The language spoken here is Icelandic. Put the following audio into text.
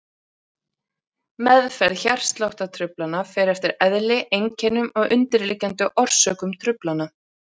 Meðferð hjartsláttartruflana fer eftir eðli, einkennum og undirliggjandi orsökum truflana.